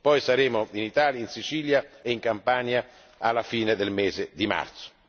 Poi saremo in Italia, in Sicilia e in Campania, alla fine del mese di marzo.